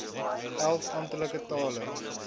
elf amptelike tale